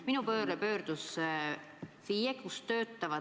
Minu poole pöördus üks FIE, kellel on selline probleem.